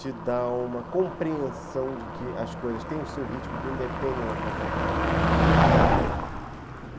te dá uma compreensão de que as coisas têm o seu ritmo, que independem da tua vontade.